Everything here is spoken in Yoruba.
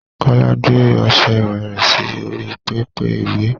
Kọ́lá gbé ọṣẹ ìwẹ rẹ̀ sí orí pẹpẹ iwẹ̀.